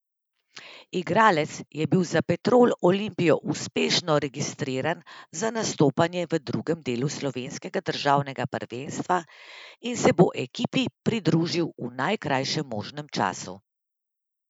Igralec je bil za Petrol Olimpijo uspešno registriran za nastopanje v drugem delu slovenskega državnega prvenstva in se bo ekipi pridružil v najkrajšem možnem času.